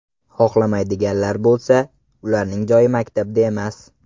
Xohlamaydiganlar bo‘lsa, ularning joyi maktabda emas.